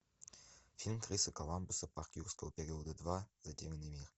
фильм криса коламбуса парк юрского периода два затерянный мир